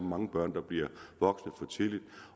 mange børn der bliver voksne for tidligt